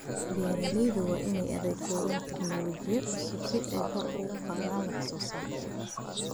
Beeralayda waa in ay adeegsadaan tignoolajiyada cusub si ay kor ugu qaadaan wax soo saarka.